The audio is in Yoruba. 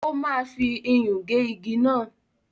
O máa fi iyùn gé igi náà.